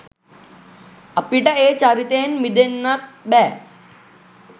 අපිට ඒ චරිතයෙන් මිදෙන්නත් බෑ.